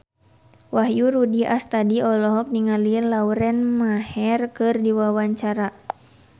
Wahyu Rudi Astadi olohok ningali Lauren Maher keur diwawancara